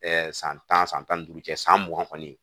san tan san tan ni duuru cɛ san mugan kɔni